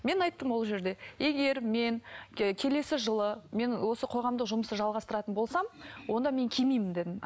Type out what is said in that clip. мен айттым ол жерде егер мен келесі жылы мен осы қоғамдық жұмысты жалғастыратын болсам онда мен кимеймін дедім